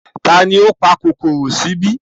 Tani ó pa kòkòrò sí ibí?